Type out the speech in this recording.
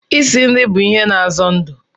Isi nri bụ a ihe na azo ndụ